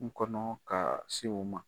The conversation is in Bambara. N kɔnɔ ka se o ma